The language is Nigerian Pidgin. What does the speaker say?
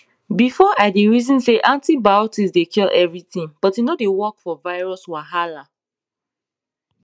before i dey reason say antibiotics dey cure everything but e no dey work for virus wahala